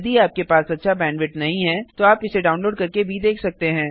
यदि आपके पास अच्छा बैंडविड्थ नहीं है तो आप इसे डाउनलोड करके देख सकते हैं